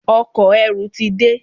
Ọkọ̀-erù ti de.